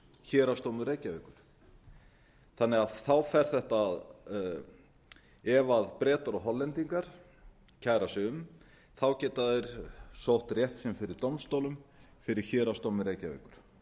héraðsdómur reykjavíkur þannig að þá fer þetta ef bretar og hollendingar kæra sig um þá geta þeir sótt rétt sinn fyrir dómstólum fyrir héraðsdómi reykjavíkur